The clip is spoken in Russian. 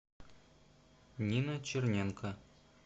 нина черненко